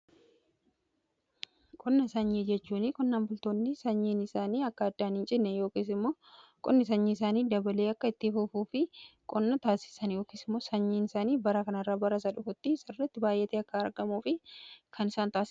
Qonna sanyii jechuun qonnan bultoonni sanyiin isaanii akka addaaniin cinne qonni sanyii isaanii dabalee akka itti fufuuf kan isaan taasisan yookisimoo sanyiin isaanii bara kanarra barasa dhufuutti sirritti baay'ate akka argamuuf kan isa fayyadamanidha.